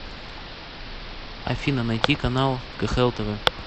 афина найти канал кхл тв